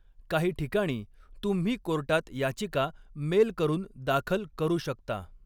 काही ठिकाणी, तुम्ही कोर्टात याचिका मेल करून दाखल करू शकता.